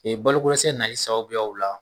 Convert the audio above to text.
Ee balodɛsɛ nali sababuyaw la